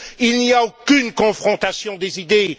Il n'y a aucune confrontation des idées.